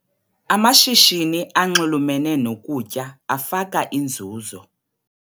Amashishini anxulumene nokutya afaka inzuzo.